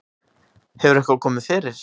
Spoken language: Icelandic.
Hefur eitthvað komið fyrir?